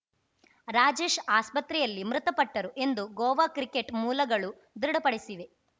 ರಾಜೇಶ್‌ ಆಸ್ಪತ್ರೆಯಲ್ಲಿ ಮೃತಪಟ್ಟರು ಎಂದು ಗೋವಾ ಕ್ರಿಕೆಟ್‌ ಮೂಲಗಳು ದೃಢಪಡಿಸಿವೆ